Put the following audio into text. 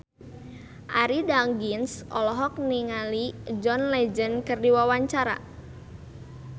Arie Daginks olohok ningali John Legend keur diwawancara